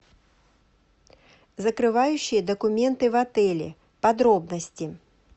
закрывающие документы в отеле подробности